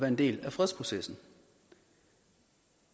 en del af fredsprocessen